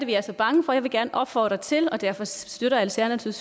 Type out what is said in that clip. vi er så bange for jeg vil gerne opfordre til og derfor støtter alternativet